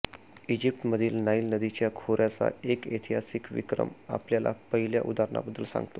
इजिप्तमधील Nile नदीतील खोऱ्याचा एक ऐतिहासिक विक्रम आपल्याला पहिल्या उदाहरणाबद्दल सांगतो